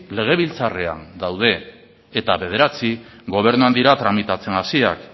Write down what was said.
legebiltzarrean daude eta bederatzi gobernuan dira tramitatzen hasiak